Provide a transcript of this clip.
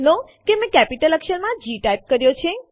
આપણે જોઈ શકીએ છીએ ફાઈલ નામ faqટીએક્સટી હાજર છે